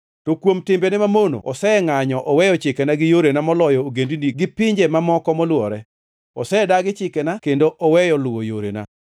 To kuom timbene mamono osengʼanyo oweyo chikena gi yorena moloyo ogendini gi pinje mamoko molwore. Osedagi chikena kendo oweyo luwo yorena.